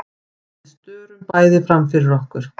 Við störum bæði framfyrir okkur.